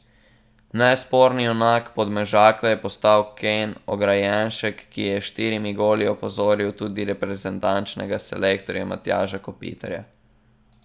Nesporni junak Podmežakle je postal Ken Ograjenšek, ki je s štirimi goli opozoril tudi reprezentančnega selektorja Matjaža Kopitarja.